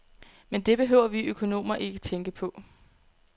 Men det behøver vi økonomer ikke tænke på.